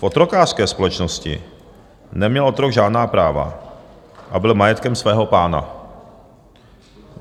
V otrokářské společnosti neměl otrok žádná práva a byl majetkem svého pána.